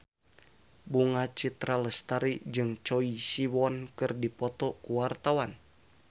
Bunga Citra Lestari jeung Choi Siwon keur dipoto ku wartawan